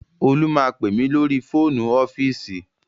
Olú máa pè mí lórí fóònù ọ́fíìsì